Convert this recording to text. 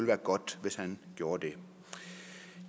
være godt hvis han gjorde det